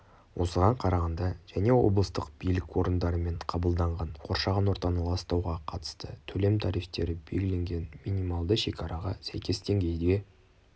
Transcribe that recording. осыған қарағанда және облыстық билік орындарымен қабылданған қоршаған ортаны ластауға қатысты төлем тарифтері белгіленген минималды шекараға сәйкес деңгейге